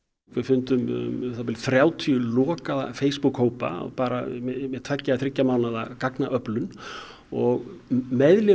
við fundum um það bil þrjátíu lokaða Facebook hópa bara með tveggja þriggja mánaða gagnaöflun og